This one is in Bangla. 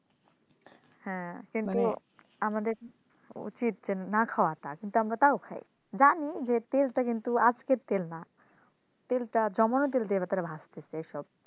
হ্যাঁ কিন্তু আমাদের উচিত যেন না খাওয়ার তার কিন্তু আমরা তাও খাই জানি যে তেলটা কিন্তু আজকের তেল না তেলটা জমানো তেল দিয়ে তারা ভাজতেছে সব